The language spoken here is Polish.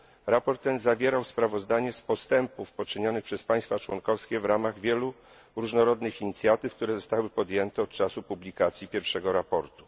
Raport ten zawierał sprawozdanie z postępów poczynionych przez państwa członkowskie w ramach wielu różnorodnych inicjatyw, które zostały podjęte od czasy publikacji pierwszego raportu.